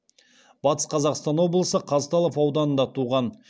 батыс қазақстан облысы қазталов ауданында туған